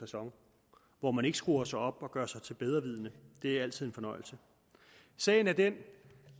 facon hvor man ikke skruer sig op og gør sig til bedrevidende det er altid en fornøjelse sagen er den